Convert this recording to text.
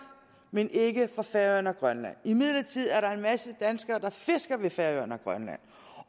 men ikke for færøerne og grønland imidlertid er der en masse danskere der fisker ved færøerne og grønland